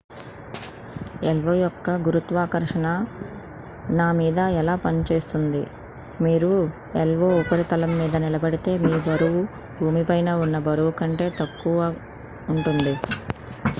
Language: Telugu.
io యొక్క గురుత్వాకర్షణ నా మీద ఎలా పనిచేస్తుంది మీరు io ఉపరితలం మీద నిలబడితే మీ బరువు భూమిపైన ఉన్న బరువు కంటే తక్కువ ఉంటుంది